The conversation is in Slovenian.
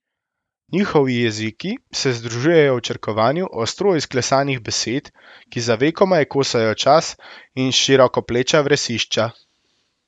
Njihovi jeziki se združujejo v črkovanju ostro izklesanih besed, ki za vekomaj kosajo čas in širokopleča vresišča.